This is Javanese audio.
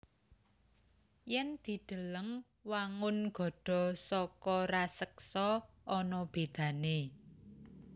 Yèn dideleng wangun gada saka raseksa ana bédané